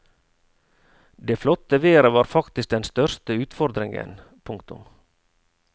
Det flotte været var faktisk den største utfordringen. punktum